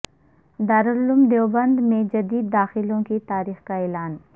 دارالعلوم دیوبند میں جدید داخلوں کی تاریخ کا اعلان